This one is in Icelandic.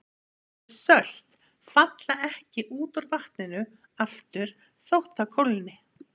Þessi sölt falla ekki út úr vatninu aftur þótt það kólni.